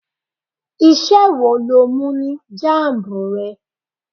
Iṣẹ́ wo lo mú ní jambu rẹ?